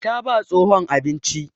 Ta ba tsohon abinci.